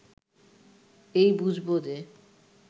এই বুঝব যে